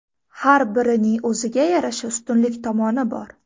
Har birining o‘ziga yarasha ustunlik tomoni bor.